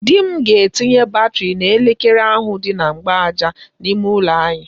Di m ga-etinye batịrị n'elekere ahụ dị na mgbaaja n'ime ụlọ anyị.